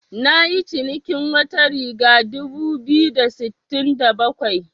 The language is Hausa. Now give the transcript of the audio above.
Nayi cinikin wata riga dubu biyu da sittin da bakwai.